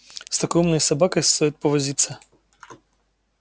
с такой умной собакой стоит повозиться